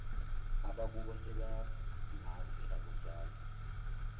abakubo sebeyangazi akuzange